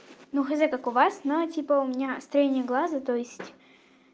ну х з как у вас но типа у меня строение глаза то есть